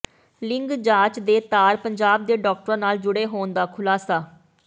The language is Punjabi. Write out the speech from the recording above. ਲਿੰਗ ਜਾਂਚ ਦੇ ਤਾਰ ਪੰਜਾਬ ਦੇ ਡਾਕਟਰਾਂ ਨਾਲ ਜੁੜੇ ਹੋਣ ਦਾ ਖ਼ੁਲਾਸਾ